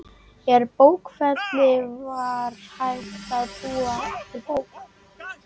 Úr bókfelli var hægt að búa til bók.